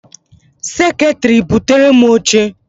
Seketiri! buterem oche!